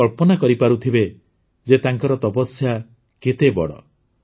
ଆପଣ କଳ୍ପନା କରିପାରୁଥିବେ ଯେ ତାଙ୍କର ତପସ୍ୟା କେତେ ବଡ଼